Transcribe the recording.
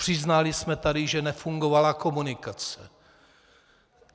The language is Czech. Přiznali jsme tady, že nefungovala komunikace.